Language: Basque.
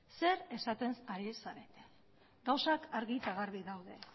zer esaten ari zarete gauzak argi eta garbi daude